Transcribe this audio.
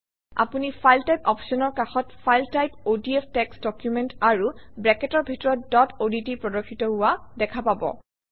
আপুনি file type অপশ্যনৰ কাষত file type ODF text document আৰু ব্ৰেকেটৰ ভিতৰত ডট অডট প্ৰদৰ্শিত হোৱা দেখা পাব